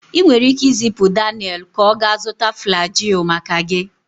Ị nwere ike izipu Daniel ka ọ gaa zụta Flagyl maka gị